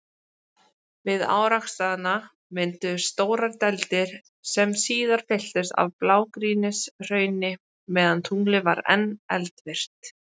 Við árekstrana mynduðust stórar dældir, sem síðar fylltust af blágrýtishrauni meðan tunglið var enn eldvirkt.